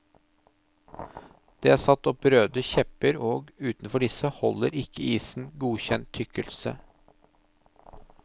Det er satt opp røde kjepper og utenfor disse holder ikke isen godkjent tykkelse.